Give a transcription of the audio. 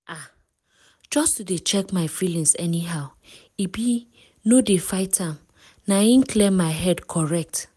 ah! just to dey check my feelings anyhow e be no dey fight am - na im clear my head correct.